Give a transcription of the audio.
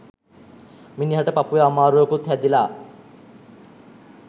මිනිහට පපුවෙ අමාරුවකුත් හැදිල.